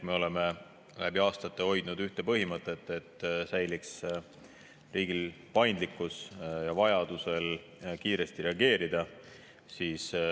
Me oleme läbi aastate hoidnud põhimõtet, et riigil säiliks paindlikkus vajaduse korral kiiresti reageerida.